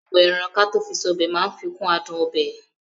Bíbọ ẹran kató fi sọ́bẹ̀ máa ń fikún àádùn ọbẹ̀.